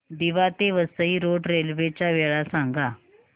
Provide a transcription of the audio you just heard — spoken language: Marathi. दिवा ते वसई रोड रेल्वे च्या वेळा सांगा